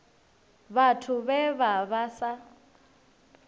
vhathu vhe vha vha sa